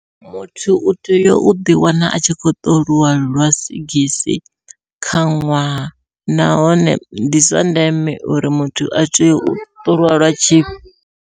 Muthu u tea u ḓi wana a tshi khou ṱolwa lwa sigisi kha ṅwaha, nahone ndi zwa ndeme uri muthu a tea u ṱolwa lwa tshi.